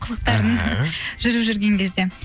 қылықтарың іхі жүріп жүрген кезде